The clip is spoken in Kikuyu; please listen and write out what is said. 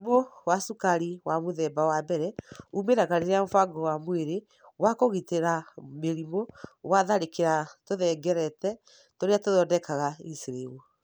Mũrimũ wa cukari wa mũthemba wa mbere umĩraga rĩrĩa mũbango wa mwĩrĩ wa kũgitĩra mĩrimũ watharĩkĩra tũhengereta tũrĩa tũthondekaga insulin.